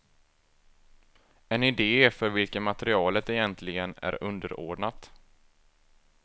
En idé för vilken materialet egentligen är underordnat.